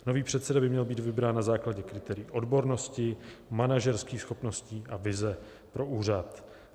Nový předseda by měl být vybrán na základě kritérií odbornosti, manažerských schopností a vize pro úřad.